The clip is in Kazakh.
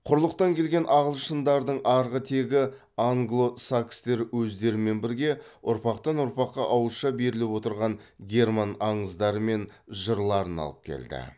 құрлықтан келген ағылшындардың арғы тегі англо сакстер өздерімен бірге ұрпақтан ұрпаққа ауызша беріліп отырған герман аңыздары мен жырларын алып келді